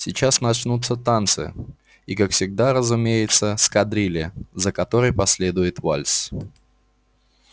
сейчас начнутся танцы и как всегда разумеется с кадрили за которой последует вальс